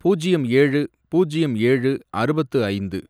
பூஜ்யம் ஏழு, பூஜ்யம் ஏழு, அறுபத்து ஐந்து